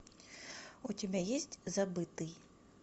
у тебя есть забытый